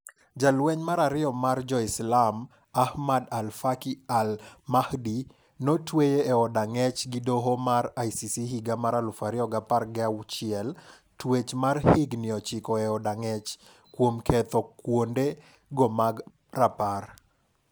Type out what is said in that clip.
Jalweny mar ariyo mar jo Islam, Ahmad Al Faqi Al Mahdi, no tweye e od ang'ech gi doo nomar ICC higa mar 2016,twech mar higni 9e od ang'ech kuomketho kuonde go mag rapar.